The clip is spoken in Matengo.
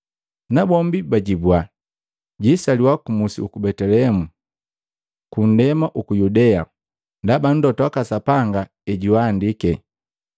Nabombi bajibua, “Jisaliwa ku musi uku Betelehemu, ku nndema uku Yudea. Ndaba mlota waka Sapanga ejuandiki,